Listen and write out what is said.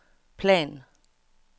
plan